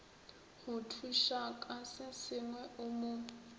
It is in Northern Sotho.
go thušaka sesengwe o mo